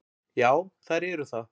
Já, þær eru það.